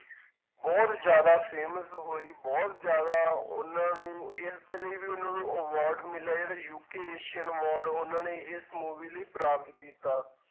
ਬਹੁਤ ਜ਼ਿਆਦਾ famous ਹੋਈ, ਬਹੁਤ ਜ਼ਿਆਦਾ ਉਹਨਾਂ ਨੂੰ ਇਸਦੇ ਲਈ ਵੀ ਉਹਨਾਂ ਨੂੰ award ਮਿਲਿਆ, ਜਿਹੜਾ UK ਏਸੀਅਨ award ਉਹਨਾਂ ਨੇ ਇਸ movie ਲਈ ਪ੍ਰਾਪਤ ਕੀਤਾ।